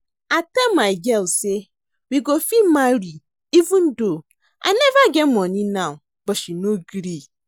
I tell my girl say we go fit marry even though I never get money now but she no gree